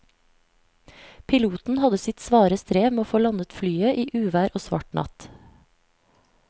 Piloten hadde sitt svare strev med å få landet flyet i uvær og svart natt.